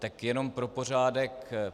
Tak jenom pro pořádek.